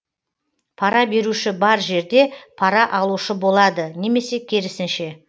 пара беруші бар жерде пара алушы болады немесе керісінше